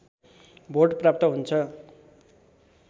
vote प्राप्त हुन्छ